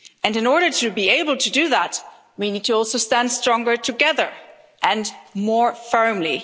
In order to be able to do that, we need to also stand stronger together and more firmly.